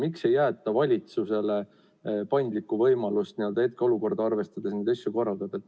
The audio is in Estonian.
Miks ei jäeta valitsusele paindlikku võimalust hetkeolukorda arvestades neid asju korraldada?